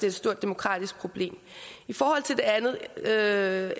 et stort demokratisk problem for det andet er